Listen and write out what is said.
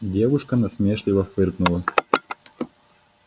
девушка насмешливо фыркнула